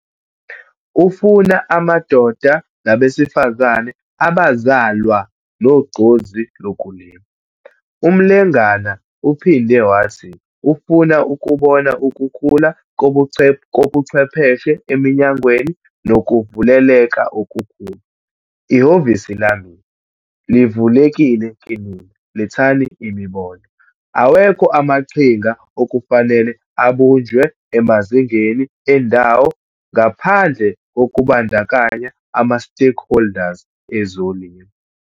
Ufuna amadoda nabesifazane abazalwa nogqozi lokulima. UMlengana uphinde wathi ufuna ukubona ukukhula kobuchwepheshe eminyangweni nokuvuleleka okukhulu, 'Ihhovisi lami livulekile kinina, lethani imibono!'. Awekho amaqhinga okufanele abunjwe emazingeni endawo ngaphandle kokubandakanya ama-stakeholders ezolimo.